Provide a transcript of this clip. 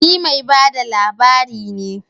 Ni mai ba da labari ne